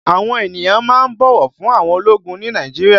Àwọn ènìyàn máa ń bọ̀wọ̀ fún àwọn ológun ni Nàìjíríà